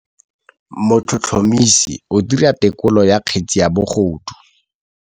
Motlhotlhomisi o dira têkolô ya kgetse ya bogodu.